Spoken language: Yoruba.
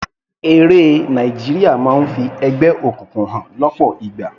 Eré Nàìjíríà máa ń fi ẹgbẹ́ òkùnkùn hàn lọ́pọ̀ ìgbà.